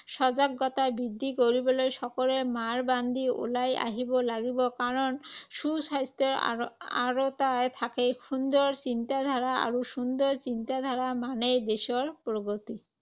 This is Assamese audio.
সজাগতা বৃদ্ধি কৰিবলৈ সকলোৱে মাৰ বান্ধি ওলাই আহিব লাগিব। কাৰণ সুস্বাস্থ্যৰ আঁৰ আঁৰতেই থাকে সুন্দৰ চিন্তাধাৰা আৰু সুন্দৰ চিন্তাধাৰা মানেই দেশৰ প্ৰগতি।